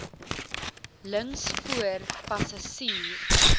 links voor passasier